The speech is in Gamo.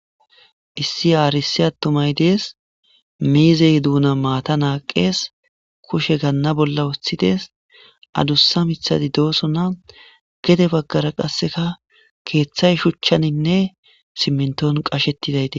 Issi arisse attumay dees, miizey duunan maata naaqqees, kushe ganna bolla woththides, adussa miththati doosona gede baggara qasseka keeththay shuchchaninne simminton qashetridau dees.